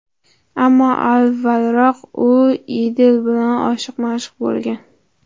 Ammo avvalroq U Idil bilan oshiq-ma’shuq bo‘lgan.